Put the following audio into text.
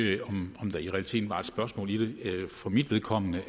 ikke om der i realiteten var et spørgsmål i det for mit vedkommende